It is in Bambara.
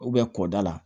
kɔda la